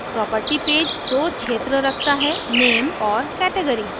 property page दो क्षेत्र रखता हैname name और category category